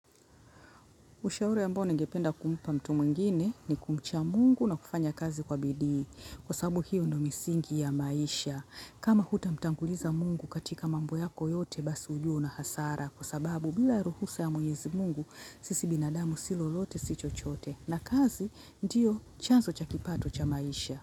Ushauri ambao ningependa kumpa mtu mwingine ni kumcha Mungu na kufanya kazi kwa bidii. Kwa sababu hiyo ndio misingi ya maisha. Kama hutamtanguliza Mungu katika mambo yako yote basi ujue una hasara. Kwa sababu bila ruhusa ya mwenyezi Mungu sisi binadamu si lolote si chochote. Na kazi ndio chanzo cha kipato cha maisha.